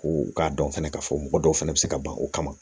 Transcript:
Ko u k'a dɔn fana k'a fɔ mɔgɔ dɔw fana bɛ se ka ban o kama